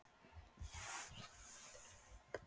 spurði Smári, viss um hvert svarið yrði.